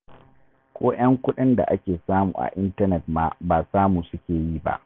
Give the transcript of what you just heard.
Ko 'yan kuɗin da ake samu a intanet ma ba samu suke yi ba.